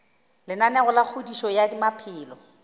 lenaneo la kgodišo ya maphelo